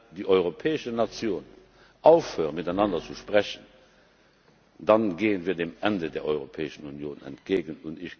Wenn die europäischen Nationen aufhören, miteinander zu sprechen, dann gehen wir dem Ende der Europäischen Union entgegen.